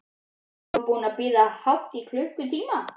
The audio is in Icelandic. Marteinn var búinn að bíða hátt í klukkutíma.